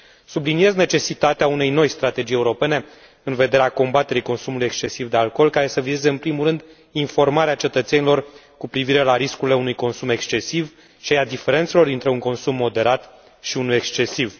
Subliniez necesitatea unei noi strategii europene în vederea combaterii consumului excesiv de alcool, care să vizeze în primul rând informarea cetățenilor cu privire la riscurile unui consum excesiv și a diferențelor dintre un consum moderat și unul excesiv.